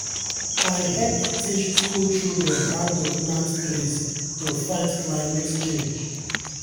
i hep teach school children how to plant trees to fight climate change